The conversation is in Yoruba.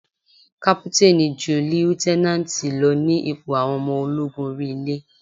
Kápútánì ju líútẹ́nánátì lọ ní ipò àwọn ọmọ ológun orí ilé.